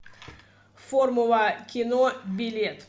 формула кино билет